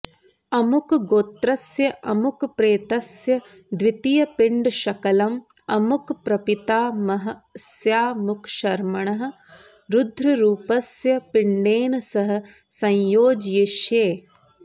अमुक गोत्रस्य अमुकप्रेतस्य द्वितीयपिण्डशकलं अमुक प्रपितामहस्यामुकशर्मणः रुद्ररूपस्य पिण्डेन सह संयोजयिष्ये